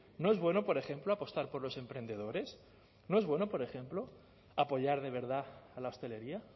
no es bueno por ejemplo apostar por los emprendedores no es bueno por ejemplo apoyar de verdad a la hostelería